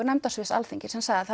nefndarsviðs Alþingis sem sagði að